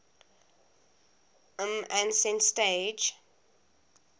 lm ascent stage